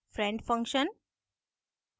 friend function